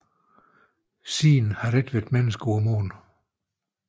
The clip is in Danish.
Siden har der ikke været mennesker på Månen